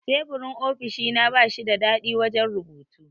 Teburin ofishina bashi da dadi wajan rubutu